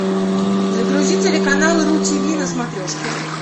загрузи телеканал ру ти ви на смотрешке